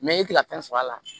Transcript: i ti ka fɛn sɔrɔ a la